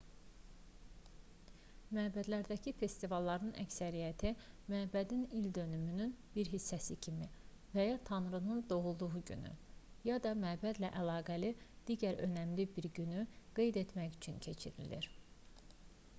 məbədlərdəki festivalların əksəriyyəti məbədin ildönümünün bir hissəsi kimi və ya tanrının doğulduğu günü ya da məbədlə əlaqəli digər önəmli bir günü qeyd etmək üçün keçirilir